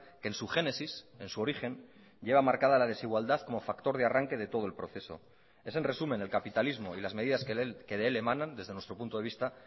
que en su génesis en su origen lleva marcada la desigualdad como factor de arranque de todo el proceso es en resumen el capitalismo y las medidas que de él emanan desde nuestro punto de vista